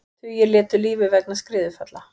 Tugir létu lífið vegna skriðufalla